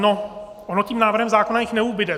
No, ono tím návrhem zákona jich neubude.